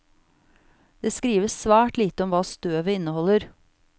Det skrives svært lite om hva støvet inneholder.